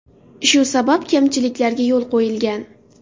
Shu sabab kamchiliklarga yo‘l qo‘yilgan.